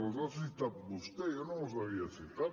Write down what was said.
les ha citat vostè jo no les havia citat